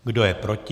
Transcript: Kdo je proti?